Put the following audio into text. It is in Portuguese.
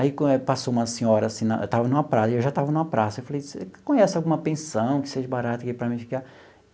Aí passou uma senhora assim na, eu estava numa praia eu já estava numa praça, eu falei, você conhece alguma pensão que seja barata para mim ficar?